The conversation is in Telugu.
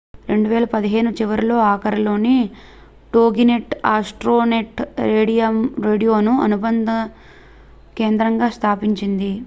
2015 చివరీ ఆఖరిలో టోగినెట్ ఆస్ట్రోనెట్ రేడియోను అనుబంధ కేంద్రంగా స్థాపించింది